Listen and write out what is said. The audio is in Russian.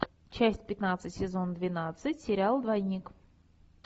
часть пятнадцать сезон двенадцать сериал двойник